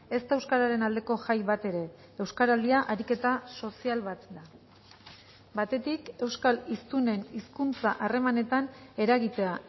ez da euskararen aldeko jai bat ere euskaraldia ariketa sozial bat da batetik euskal hiztunen hizkuntza harremanetan eragitea